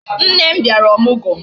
Nne m bịara ọmụgwọ